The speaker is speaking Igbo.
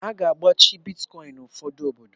A ga-agbachi Bitkọin n'ụfọdụ obodo.